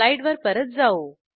स्लाईडवर परत जाऊ